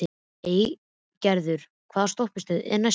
Eygerður, hvaða stoppistöð er næst mér?